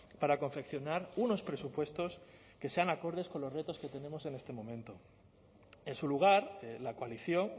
para confeccionar unos presupuestos que sean acordes con los retos que tenemos en este momento en su lugar la coalición